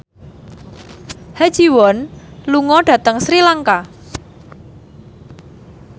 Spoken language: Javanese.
Ha Ji Won lunga dhateng Sri Lanka